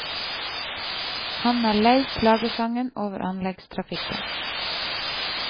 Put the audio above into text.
Han er lei klagesangen over anleggstrafikken.